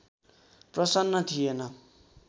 प्रसन्न थिएन